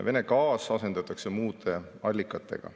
Vene gaas asendatakse muude allikatega.